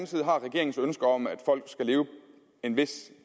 side har regeringens ønske om at folk skal leve en vis